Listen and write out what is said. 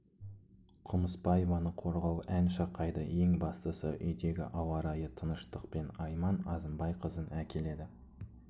құмыспаеваны қорғау ән шырқайды ең бастысы үйдегі ауа райы тыныштықпен айман азымбайқызын әкеледі